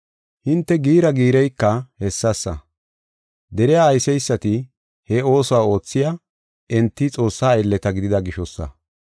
Hinte giira giireyka hessasa. Deriya ayseysati he oosuwa oothey, enti Xoossaa aylleta gidida gishosa.